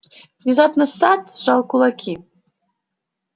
внезапно сатт сжал кулаки